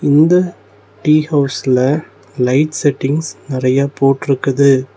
இந்த டீ ஹவுஸ்ல light settings நெறைய போட்ருக்குது.